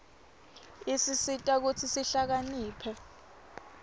isisita kutsi sihlakaniphe